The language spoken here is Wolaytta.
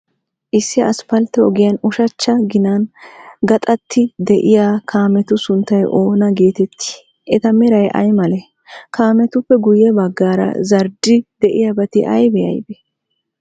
Issi asppaltte ogiyan ushachcha ginan gaxattidi de'iyaa kaametu sunttay oona geetettii? Eta meray ay malee? Kaametuppe guyye baggaara zardda'idi de'iyaabati aybee aybee?